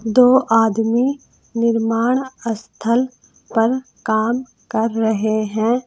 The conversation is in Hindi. दो आदमी निर्माण स्थल पर काम कर रहे हैं।